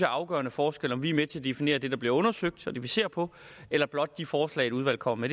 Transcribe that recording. afgørende forskel om vi er med til at definere det der bliver undersøgt og det vi ser på eller blot de forslag udvalget kommer